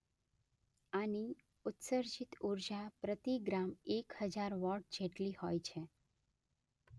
આની ઉત્સર્જિત ઊર્જા પ્રતિ ગ્રામ એક હજાર વૉટ જેટલી હોય છે.